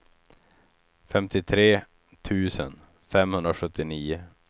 femtiotre tusen femhundrasjuttionio